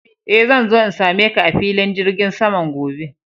Eh, zan zo in same ka a filin jirgin saman gobe.